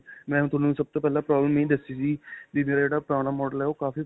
ਮੈਂ ਹੁਣ ਤੁਹਾਨੂੰ ਸਭ ਤੋਂ ਪਹਿਲਾਂ problem ਇਹੀ ਦੱਸੀ ਸੀ ਵੀ ਮੇਰਾ ਜਿਹੜਾ ਪੁਰਾਣਾ model ਏਂ ਓਹ ਕਾਫੀ.